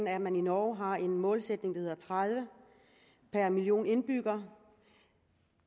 er at man i norge har en målsætning der hedder tredive per million indbyggere